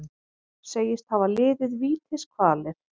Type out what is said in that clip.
Segist hafa liðið vítiskvalir